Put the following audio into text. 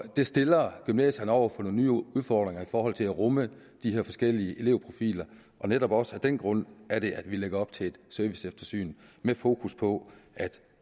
det stiller gymnasierne over for nogle nye udfordringer i forhold til at rumme de her forskellige eleverprofiler og netop også af den grund er det at vi lægger op til et serviceeftersyn med fokus på at